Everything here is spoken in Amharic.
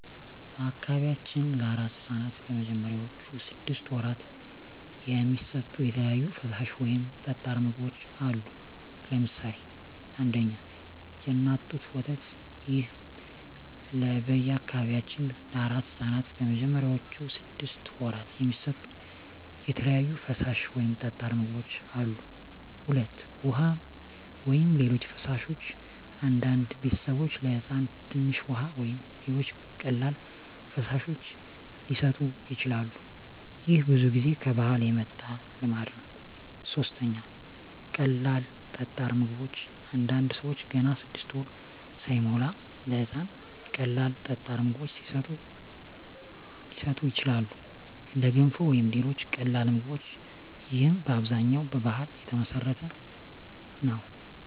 በአካባቢያችን ለአራስ ሕፃናት በመጀመሪያዎቹ ስድስት ወራት የሚሰጡ የተለያዩ ፈሳሽ ወይም ጠጣር ምግቦች አሉ። ለምሳሌ 1. የእናት ጡት ወተት ይህ ለበአካባቢያችን ለአራስ ሕፃናት በመጀመሪያዎቹ ስድስት ወራት የሚሰጡ የተለያዩ ፈሳሽ ወይም ጠጣር ምግቦች አሉ። 2. ውሃ ወይም ሌሎች ፈሳሾች አንዳንድ ቤተሰቦች ለሕፃን ትንሽ ውሃ ወይም ሌሎች ቀላል ፈሳሾች ሊሰጡ ይችላሉ። ይህ ብዙ ጊዜ ከባህል የመጣ ልማድ ነው። 3. ቀላል ጠጣር ምግቦች አንዳንድ ሰዎች ገና 6 ወር ሳይሞላ ለሕፃን ቀላል ጠጣር ምግቦች ሊሰጡ ይችላሉ፣ እንደ ገንፎ ወይም ሌሎች ቀላል ምግቦች። ይህም በአብዛኛው በባህል የተመሠረተ ነው።